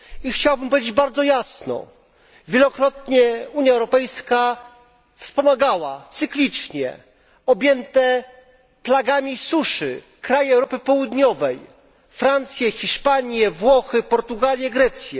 Chciałbym powiedzieć bardzo jasno wielokrotnie Unia Europejska wspomagała cyklicznie objęte plagami suszy kraje Europy Południowej Francję, Hiszpanię, Włochy, Portugalię, Grecję.